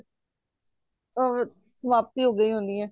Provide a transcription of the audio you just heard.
ਉਹ ਫੇਰ ਸਮਾਪਤੀ ਹੋ ਗਯੀ ਹੋਣੀਏ